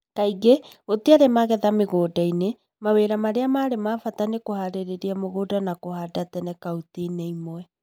Kaingĩ, gũtiarĩ magetha mĩgũnda-inĩ . Mawĩra marĩa ma bata nĩ kũhaarĩria mugũnda na kũhanda tene kauntĩ-inĩ imwe